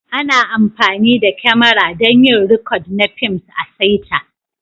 Ana amfani da kyamara don yin rikod na fims a'saita.